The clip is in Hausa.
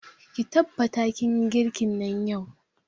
Ki tabbata kin yi girkin nan yau!